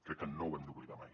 crec que no ho hem d’oblidar mai